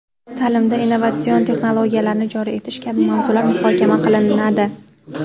ta’limda innovatsion texnologiyalarni joriy etish kabi mavzular muhokama qilinadi.